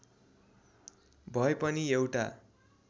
भए पनि एउटा